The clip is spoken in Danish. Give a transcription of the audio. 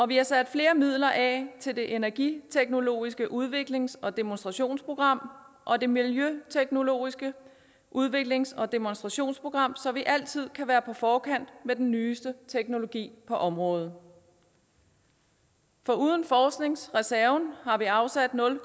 vi har sat flere midler af til det energiteknologiske udviklings og demonstrationsprogram og det miljøteknologiske udviklings og demonstrationsprogram så vi altid kan være på forkant med den nyeste teknologi på området foruden forskningsreserven har vi afsat nul